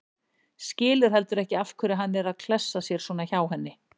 Skilur heldur ekki af hverju hann er að klessa sér svona hjá henni.